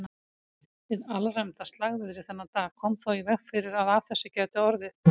Hið alræmda slagviðri þennan dag kom þó í veg fyrir að af þessu gæti orðið.